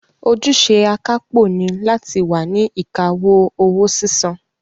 Ojúṣe akápò ni láti wà ní ìkáwọ́ owó sísan